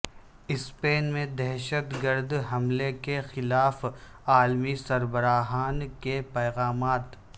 Spain میں دہشت گرد حملے کے خلاف عالمی سربراہان کے پیغامات